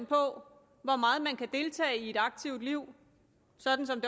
på hvor meget man kan deltage i et aktivt liv sådan som